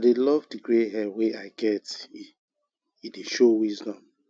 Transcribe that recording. i dey love di grey hair wey i get e e dey show wisdom